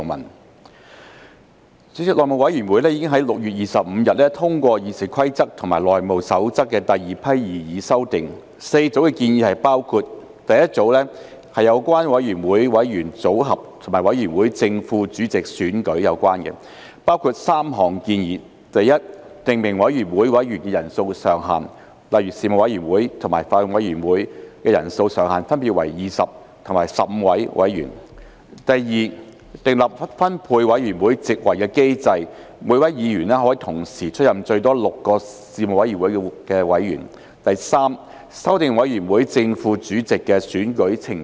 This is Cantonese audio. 代理主席，內務委員會已於6月25日通過《議事規則》及《內務守則》的第二批擬議修訂 ，4 組建議包括：第一組是有關委員會委員組合及委員會正副主席選舉，包括3項建議：第一，訂明委員會委員人數上限，例如事務委員會及法案委員會的人數上限分別為20及15名委員；第二，訂立分配委員會席位的機制，每名議員可同時出任最多6個事務委員會的委員；第三，修訂委員會正副主席的選舉程序。